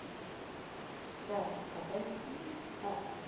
Está acabando?